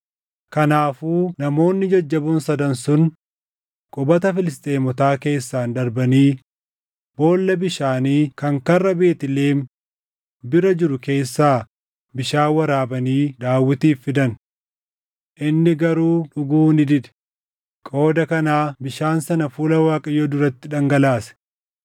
Kanaafuu namoonni jajjaboon sadan sun qubata Filisxeemotaa keessaan darbanii boolla bishaanii kan karra Beetlihem bira jiru keessaa bishaan waraabanii Daawitiif fidan. Inni garuu dhuguu ni dide; qooda kanaa bishaan sana fuula Waaqayyoo duratti dhangalaase.